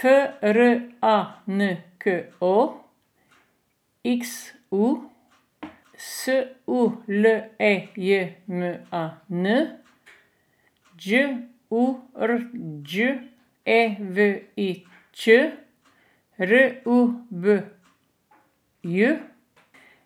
F R A N K O, X U; S U L E J M A N, Đ U R Đ E V I Ć; R U B J,